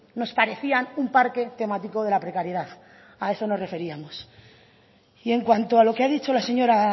nos parecían un parque temático de la precariedad a eso nos referíamos y en cuanto a lo que ha dicho la señora